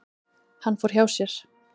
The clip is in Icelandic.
Hann fór hjá sér.